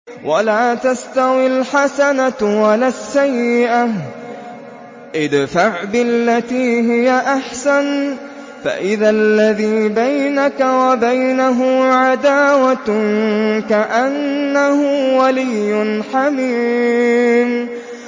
وَلَا تَسْتَوِي الْحَسَنَةُ وَلَا السَّيِّئَةُ ۚ ادْفَعْ بِالَّتِي هِيَ أَحْسَنُ فَإِذَا الَّذِي بَيْنَكَ وَبَيْنَهُ عَدَاوَةٌ كَأَنَّهُ وَلِيٌّ حَمِيمٌ